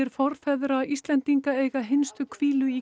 forfeðra Íslendinga eiga hinstu hvílu í